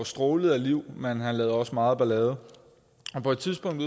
strålede af liv men han lavede også meget ballade på et tidspunkt